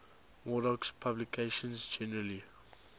murdoch's publications generally